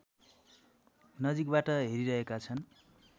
नजिकबाट हेरिरहेका छन्